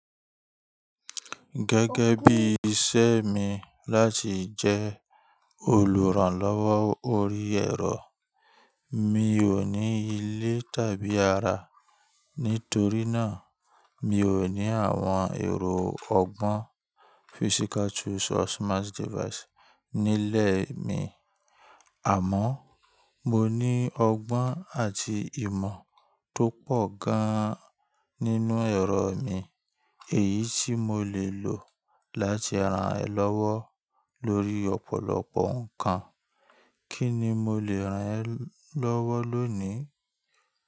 Gẹ́gẹ́ bí iṣẹ́ mi láti jẹ́ olùrànlọ́wọ́ orí ẹ̀rọ, mi ò ní ilé tàbí ara. Nítorí náà, mi ò ní àwọn ẹ̀rọ ọgbọ́n physical tools or smart device nílẹ̀ mi. Àmọ́ mo ní ọgbọ́n àti ìmọ̀ tó pọ̀ gan an nínú ẹ̀rọ mi, èyí tí mo lè lò láti ran ẹ lọ́wọ́ lórí ọ̀pọ̀lọpọ̀ nǹkan. Kí ni mo lè ràn ẹ́ lọ́wọ́ lónìí?